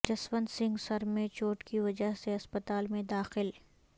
جسونت سنگھ سر میں چوٹ کی وجہ سے اسپتال میں داخل